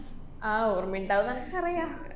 ആഹ് ഓര്‍മ്മയ്ണ്ടാവൂന്നനക്ക് അറിയാ.